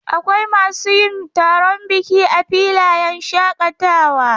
Akwai masu yin taron biki a filayen shaƙatawa.